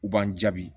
U b'an jaabi